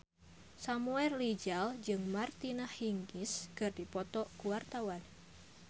Samuel Rizal jeung Martina Hingis keur dipoto ku wartawan